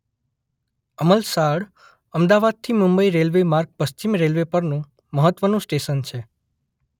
અમલસાડ અમદાવાદથી મુંબઇ રેલ્વે માર્ગ પશ્ચિમ રેલ્વે પરનું મહત્વનું સ્ટેશન છે.